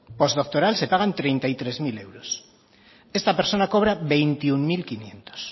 postdoctoral se pagan treinta y tres mil euros esta persona cobra veintiuno mil quinientos